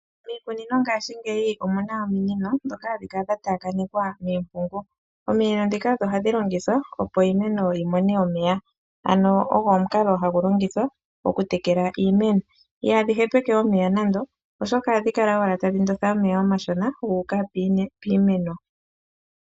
Miikunino ngaashingeyi omu na ominino ndhoka hadhi kala dha taakanekwa miimpungu, ominino ndhika odho hadhi longithwa opo iimeno yi mone omeya ogo omukalo hagu longithwa okuteleka iimeno, ihadhi hepeke omeya oshoka ohadhi kala owala tadhi ndotha omeya omashona guuka piimeno.